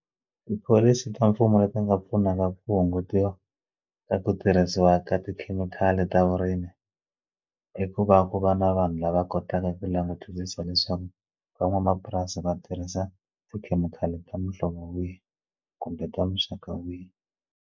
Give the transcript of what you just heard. Tipholisi ta mfumo leti nga pfunaka ku hungutiwa ka ku tirhisiwa ka tikhemikhali ta vurimi i ku va ku va na vanhu lava kotaka ku langutisisa leswaku van'wamapurasi va tirhisa tikhemikhali ta muhlovo wihi kumbe ta muxaka wihi.